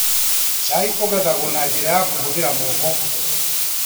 Cai ũgethagwo na njĩra ya kũhũthĩra moko.